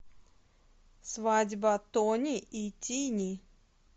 свадьба тони и тини